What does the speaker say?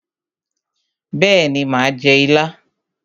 Bẹ́ẹ̀ni mà á jẹ ilá.